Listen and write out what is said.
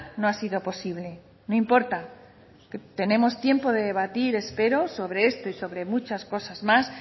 no ha sido posible no importa tenemos tiempo de debatir espero sobre esto y sobre muchas cosas más